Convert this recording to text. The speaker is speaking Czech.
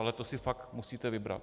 Ale to si fakt musíte vybrat.